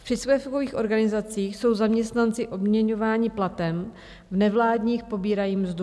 V příspěvkových organizacích jsou zaměstnanci odměňováni platem, v nevládních pobírají mzdu.